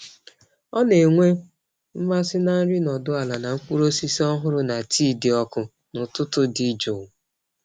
Ọ na-enwe mmasị na nri nọdụ ala na mkpụrụ osisi ọhụrụ na tii dị ọkụ n’ụtụtụ dị jụụ.